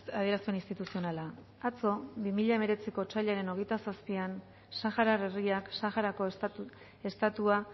adierazpen instituzionala atzo bi mila hemeretziko otsailaren hogeita zazpian saharar herriak saharako estatua